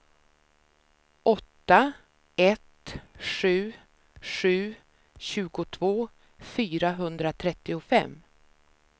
åtta ett sju sju tjugotvå fyrahundratrettiofem